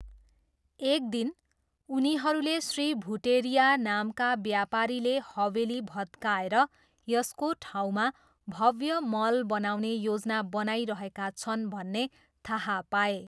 एक दिन, उनीहरूले श्री भुटेरिया नामका व्यापारीले हवेली भत्काएर यसको ठाउँमा भव्य मल बनाउने योजना बनाइरहेका छन् भन्ने थाहा पाए।